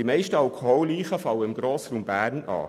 Die meisten Schwerbetrunkenen fallen im Grossraum Bern an.